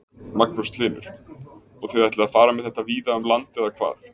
Magnús Hlynur: Og þið ætlið að fara með þetta víða um land eða hvað?